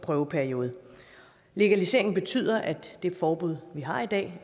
prøveperiode en legalisering betyder at det forbud vi har i dag